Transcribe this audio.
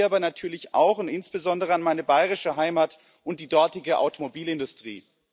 Ich denke hierbei natürlich auch und insbesondere an meine bayerische Heimat und die dortige Automobilindustrie.